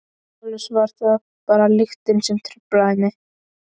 Eflaust var það bara lyktin sem truflaði mig.